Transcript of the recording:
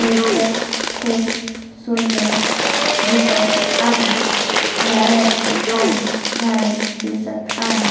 Nature खूप सुंदर दिसत आहे नारळाची काही झाडे दिसत आहे.